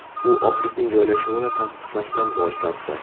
U ofisning joylashuvini tasdiqlashdan bosh tortdi.